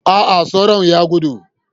A'a, sauron ya gudu.